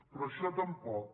però això tampoc